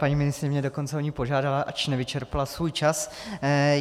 Paní ministryně mě dokonce o ni požádala, ač nevyčerpala svůj čas.